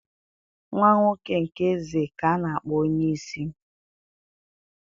nwa-nwoke nke eze ka anākpọ onye-isi.